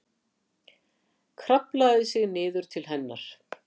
Kraflaði sig niður til hennar.